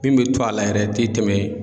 Min bɛ to a la yɛrɛ i tɛ tɛmɛ.